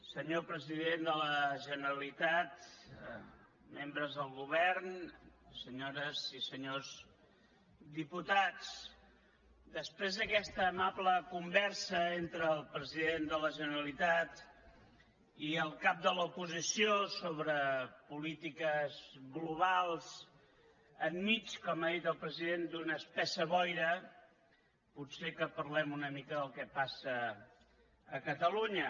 senyor president de la generalitat membres del govern senyores i senyors diputats després d’aquesta amable conversa entre el president de la generalitat i el cap de l’oposició sobre polítiques globals enmig com ha dit el president d’una espessa boira potser que parlem una mica del que passa a catalunya